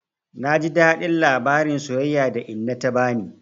Na ji daɗin labarin soyayya da inna ta bani.